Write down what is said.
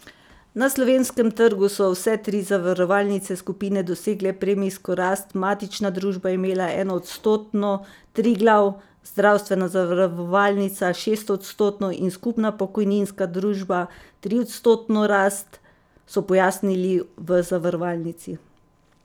Na slovenskem trgu so vse tri zavarovalnice skupine dosegle premijsko rast, matična družba je imela enoodstotno, Triglav, Zdravstvena zavarovalnica šestodstotno in Skupna pokojninska družba triodstotno rast, so pojasnili v zavarovalnici.